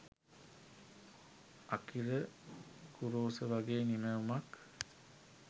Akira Kurosawa වගේ නිමැවුමක්